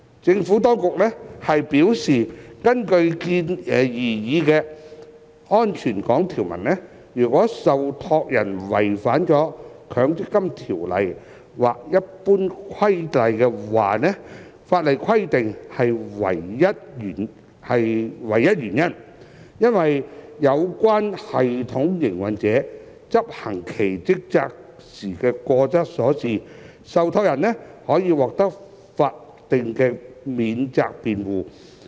政府當局表示，根據擬議的"安全港"條文，如受託人違反《強制性公積金計劃條例》或《強制性公積金計劃規例》法定規定的唯一原因，是因有關系統營運者執行其職責時過失所致，受託人可獲法定免責辯護。